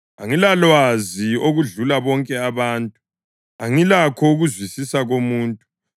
Angilalwazi okudlula bonke abantu; angilakho ukuzwisisa komuntu.